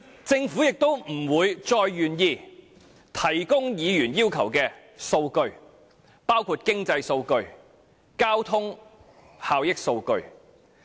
政府亦不會再願意提供議員要求的數據，包括經濟數據和交通效益數據。